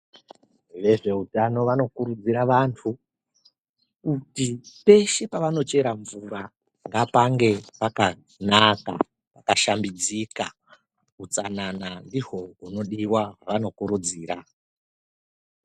Vezveutano vanokurudzira vantu, kuti peshe pavanochera mvura, ngapange pakanaka, pakashambidzika. Utsanana ndihwo hunodiwa hweanokurudzira.